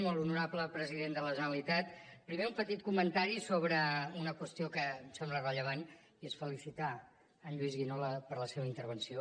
molt honorable president de la generalitat primer un petit comentari sobre una qüestió que em sembla rellevant i és felicitar en lluís guinó per la seva intervenció